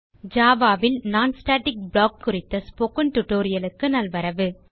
Java ல் non static block குறித்த spoken Tutorialக்கு நல்வரவு